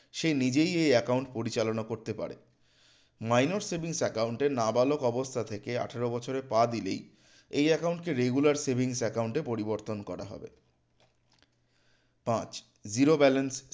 সে নিজেই এই account পরিচালনা করতে পারে minors savings account এ নাবালক অবস্থা থেকে আঠারো বছরে পা দিলেই এই account কে regular savings account এ পরিবর্তন করা হবে পাঁচ zero balance